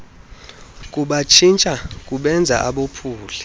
kubatshintsha kubenze abophuli